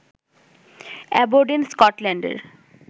Aberdeen স্কটল্যান্ডের